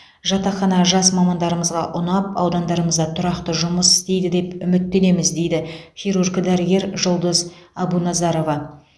жатақхана жас мамандарымызға ұнап ауданымызда тұрақты жұмыс істейді деп үміттенеміз дейді хирург дәрігер жұлдыз әбуназарова